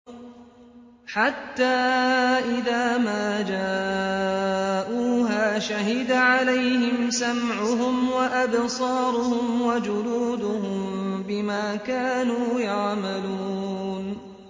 حَتَّىٰ إِذَا مَا جَاءُوهَا شَهِدَ عَلَيْهِمْ سَمْعُهُمْ وَأَبْصَارُهُمْ وَجُلُودُهُم بِمَا كَانُوا يَعْمَلُونَ